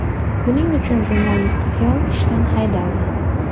Buning uchun jurnalist ayol ishdan haydaldi.